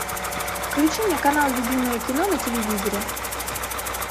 включи мне канал любимое кино на телевизоре